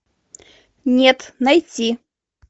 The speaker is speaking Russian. нет найти